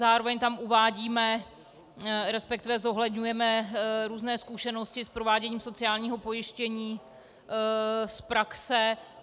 Zároveň tam uvádíme, respektive zohledňujeme různé zkušenosti s prováděním sociálního pojištění z praxe.